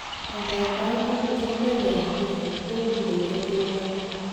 angandan, angot komenyaa infection, koburei en bortangung